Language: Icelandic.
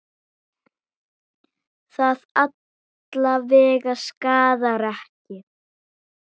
Það alla vega skaðar ekki.